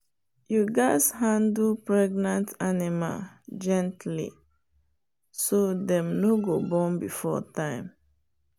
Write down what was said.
you gatz handle pregnant animal gently so dem no go born before time.